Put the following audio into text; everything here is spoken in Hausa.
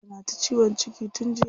Tana ta ciwon ciki tun jiya.